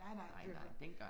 Nej nej, det kunne da godt